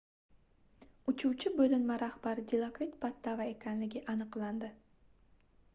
uchuvchi boʻlinma rahbari dilokrit pattava ekanligi aniqlandi